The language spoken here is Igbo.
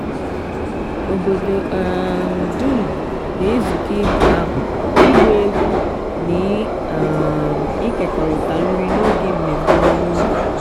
obodo um dum na-ezukọ ịbụ abụ ịgba egwu na um ịkekọrịta nri n'oge mmemme ọrụ ugbo.